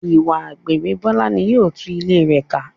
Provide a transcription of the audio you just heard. Ìwà àgbèrè Bọ́lá ní yóò tu ilé rẹ ká.